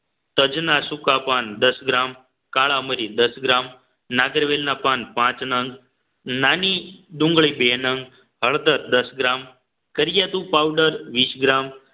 તજના સુકાપાન દસ ગ્રામ કાળા મરી દસ ગ્રામ નાગરવેલના પાન પાંચ નંગ નાની ડુંગળી બે નંગ હળદર દસ ગ્રામ કર્યાતું પાઉડર વીસ ગ્રામ